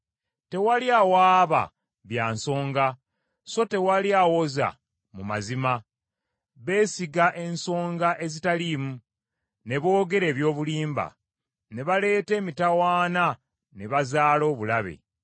Tewali awaaba bya nsonga so tewali awoza mu mazima; Beesiga ensonga ezitaliimu, ne boogera eby’obulimba, ne baleeta emitawaana ne bazaala obulabe.